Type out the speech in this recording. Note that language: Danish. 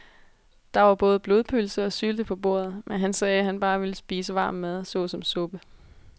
Der var både blodpølse og sylte på bordet, men han sagde, at han bare ville spise varm mad såsom suppe.